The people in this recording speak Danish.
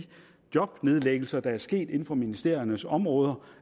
jobnedlæggelser der er sket inden for ministeriernes områder